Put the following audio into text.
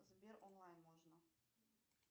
сбер онлайн можно